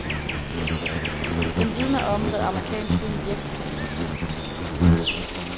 Den vidner om, hvad amerikansk film virkelig kan.